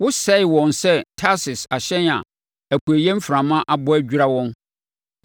Wosɛee wɔn sɛ Tarsis ahyɛn a apueeɛ mframa abɔ adwira wɔn.